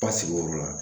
Basigi o yɔrɔ la